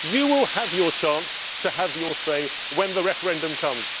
You will have your chance to have your say when the referendum comes.